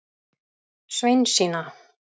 Sveinsína